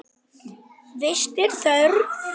Vits er þörf